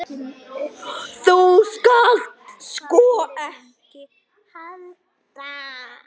Þú skalt sko ekki halda.